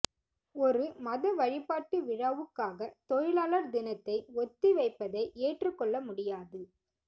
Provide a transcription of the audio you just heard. ஒரு மத வழிபாட்டு விழாவுக்காக தொழிலாளர் தினத்தை ஒத்தி வைப்பதை ஏற்றுக்கொள்ள முடியாது